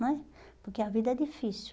não é, Porque a vida é difícil.